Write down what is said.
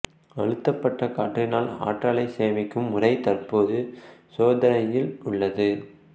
அழுத்தப்பட்ட காற்றினால் ஆற்றலை சேமிக்கும் முறை தற்போது சோதனையில் உள்ளது